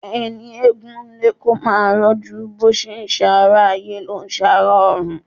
Ẹni egún ń lé kó máa rọ́jú bó ti ńrẹ̀ ará ayé, ló ń rẹ ará ọ̀run.